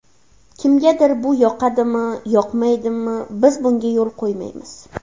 Kimgadir bu yoqadimi, yoqmaydimi, biz bunga yo‘l qo‘ymaymiz.